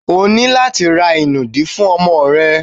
O ní láti ra ìnùdí fún ọmọ rẹ.